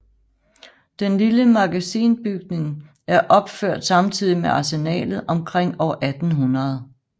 Den lille magasinbygning er opført samtidig med Arsenalet omkring år 1800